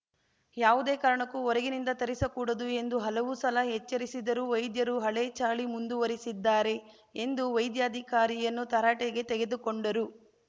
ಯಾವುದೇ ಕಾರಣಕ್ಕೂ ಹೊರಗಿನಿಂದ ತರಿಸಕೂಡದು ಎಂದು ಹಲವು ಸಲ ಎಚ್ಚರಿಸಿದ್ದರೂ ವೈದ್ಯರು ಹಳೆ ಚಾಳಿ ಮುಂದುವರಿಸಿದ್ದಾರೆ ಎಂದು ವೈದ್ಯಾಧಿಕಾರಿಯನ್ನು ತರಾಟೆಗೆ ತೆಗೆದುಕೊಂಡರು